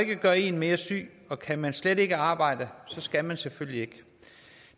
gøre en mere syg og kan man slet ikke arbejde skal man selvfølgelig ikke